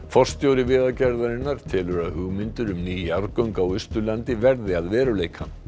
forstjóri Vegagerðarinnar telur að hugmyndir um ný jarðgöng á Austurlandi verði að veruleika